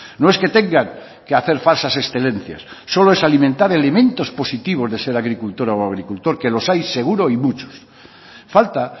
no es que tengan que hacer falsas excelencias solo es alimentar elementos positivos de ser agricultora o agricultor que los hay seguro y muchos falta